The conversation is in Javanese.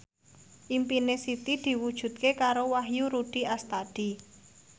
impine Siti diwujudke karo Wahyu Rudi Astadi